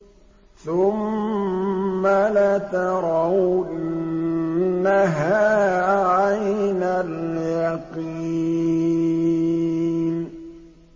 ثُمَّ لَتَرَوُنَّهَا عَيْنَ الْيَقِينِ